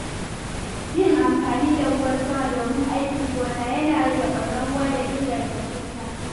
Yin amfani da ruwan sama domin aikin gona yana rage ɓarnar ruwa da inganta shuka.